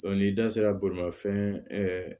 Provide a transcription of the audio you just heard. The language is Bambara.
n'i da sera bolimafɛn